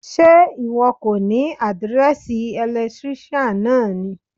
Sé ìwọ kò ní àdírẹ́ẹ̀sì electrician náà ni?